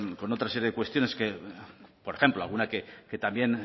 con otra serie de cuestiones que por ejemplo alguna que también